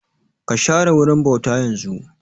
Ka share wurin bauta yanzun!